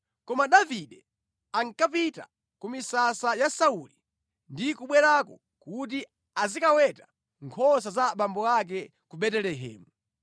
Koma Davide ankapita ku misasa ya Sauli ndi kubwerako kuti azikaweta nkhosa za abambo ake ku Betelehemu.